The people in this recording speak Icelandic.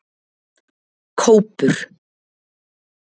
Kópur